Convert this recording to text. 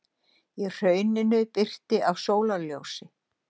Í hrauninu birti af sólarljósi.